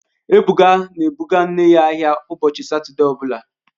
Ebuka na-ebụga nne ya ahịa ụbọchị Satọde ọ bụla